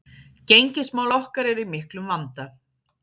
Gengismál okkar eru í miklum vanda